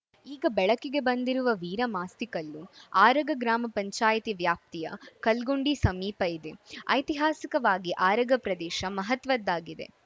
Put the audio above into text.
ಈಗ ಬೆಳಕಿಗೆ ಬಂದಿರುವ ವೀರಮಾಸ್ತಿಕಲ್ಲು ಆರಗ ಗ್ರಾಮ ಪಂಚಾಯಿತಿ ವ್ಯಾಪ್ತಿಯ ಕಲ್ಗುಂಡಿ ಸಮೀಪ ಇದೆ ಐತಿಹಾಸಿಕವಾಗಿ ಆರಗ ಪ್ರದೇಶ ಮಹತ್ವದ್ದಾಗಿದೆ